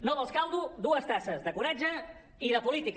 no vols caldo dues tasses de coratge i de política